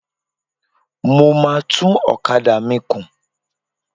Mo máa tún ọ̀kadà mi kùn.